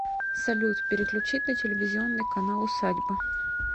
салют переключить на телевизионный канал усадьба